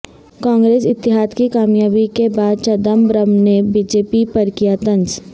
کانگریس اتحاد کی کامیابی کے بعد چدمبرم نے بی جے پی پر کیا طنز